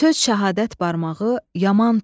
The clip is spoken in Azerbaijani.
Söz Şəhadət barmağı yaman tutdu.